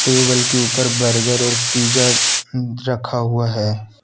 Table के ऊपर burger और पिज़्ज़ा रखा हुआ है।